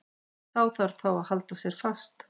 Sá þarf þá að halda fast.